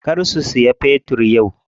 Kar ku siya fetir yau.